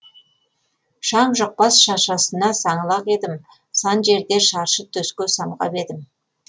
шаң жұқпас шашасына саңлақ едім сан жерде шаршы төске самғап едім